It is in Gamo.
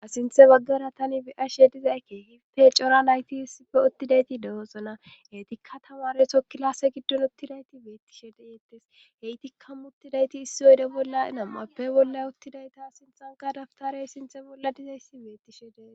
Asinthe baggara tani biyashe dizakke hiffe cora nayti issipfe ottidayti dehosona hetikka tamare sokkilase giddon uttidayti beettishe de yeettes he itikka muttidayti issi oyde bolla nam'appe bolla uttidayta sinthanka daftarey sinthe bolla dizayssi beettishe dee.